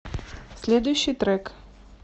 следующий трек